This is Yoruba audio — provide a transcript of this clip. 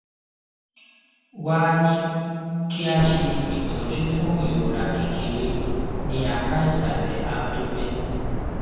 wá a ní kí a ṣe itọju fún ìrora kékeré ní apá ìsàlè abdomen